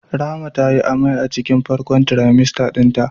Rahma tayi amai a cikin farkon trimester dinta.